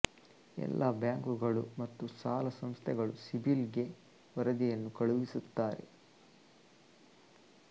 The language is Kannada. ಎಲ್ಲಾ ಬ್ಯಾಂಕಗಳು ಮತ್ತು ಸಾಲ ಸಂಸ್ಥೆಗಳು ಸಿಬಿಲ್ ಗೆ ವರದಿಯನ್ನು ಕಲುಹಿಸಿಸುತ್ತಾರೆ